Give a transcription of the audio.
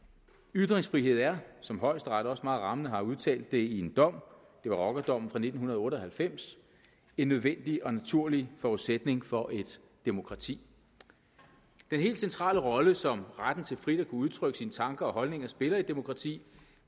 ytringsfrihed er som højesteret også meget rammende har udtalt det i en dom det var rockerdommen fra nitten otte og halvfems en nødvendig og naturlig forudsætning for et demokrati den helt centrale rolle som retten til frit at kunne udtrykke sine tanker og holdninger spiller i et demokrati